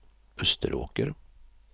Österåker